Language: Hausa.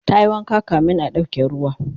tayi wanka kamin a ɗauke ruwa